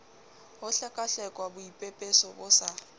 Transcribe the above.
ho hlekwahlekwa boipepeso bo sa